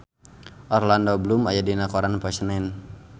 Orlando Bloom aya dina koran poe Senen